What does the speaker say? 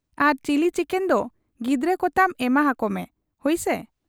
ᱟᱨ chilli chicken ᱫᱚ ᱜᱤᱫᱟᱹᱨ ᱠᱚᱛᱟᱢ ᱮᱢᱟ ᱦᱟᱠᱠᱚᱢᱮ ᱾ ᱦᱩᱭᱪᱤ ?'